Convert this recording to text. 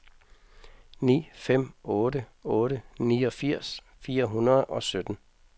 ni fem otte otte niogfirs fire hundrede og sytten